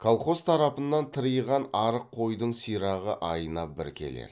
колхоз тарапынан тыриған арық қойдың сирағы айына бір келер